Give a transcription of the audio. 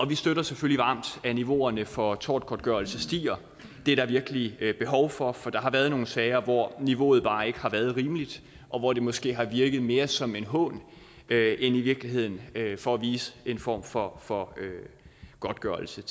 vi støtter selvfølgelig varmt at niveauerne for tortgodtgørelse stiger det er der virkelig behov for for der har været nogle sager hvor niveauet bare ikke har været rimeligt og hvor det måske har virket mere som en hån end i virkeligheden for at vise en form for for godtgørelse